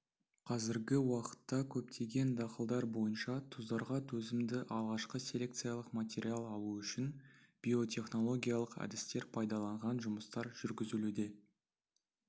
қазіргі уақытта көптеген дақылдар бойынша тұздарға төзімді алғашқы селекциялық материал алу үшін биотехнологиялық әдістер пайдаланған жұмыстар жүргізілуде